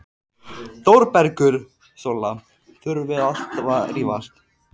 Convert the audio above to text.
ÞÓRBERGUR: Sóla, þurfum við alltaf að vera að rífast?